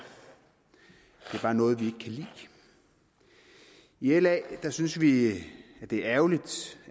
bare noget vi ikke lide i la synes vi det er ærgerligt